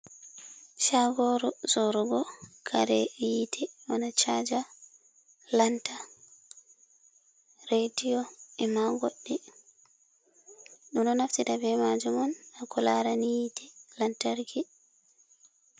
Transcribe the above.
Shagoru sorugo kare yite wana chaja, lanta, redio, e ma goɗɗi ɗudo naftira be majum on hako lara ni yite lantarki.